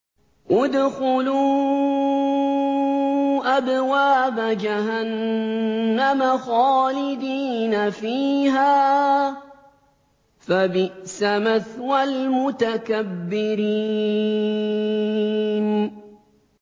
ادْخُلُوا أَبْوَابَ جَهَنَّمَ خَالِدِينَ فِيهَا ۖ فَبِئْسَ مَثْوَى الْمُتَكَبِّرِينَ